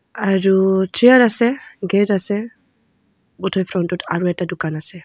আৰু চেয়াৰ আছে গেট আছে গোটেই ফ্ৰণ্ট ত আৰু এটা দোকান আছে.